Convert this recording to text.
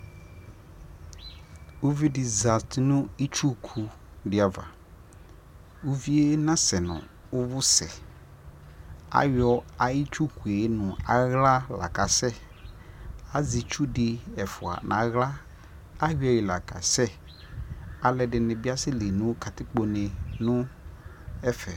ʋvi di zati nʋ ʋtsʋkʋ di aɣa, ʋviɛ na sɛnʋ ʋvʋ sɛ, ayɔ ayi itsʋkʋɛ mʋa nʋ ala lakasɛ, azɛ itsʋ di ɛƒʋa nʋ ala, ayɔ yi la kasɛ, alʋɛdini biasɛ li nʋkatikpɔ nɛ nʋ ɛƒɛ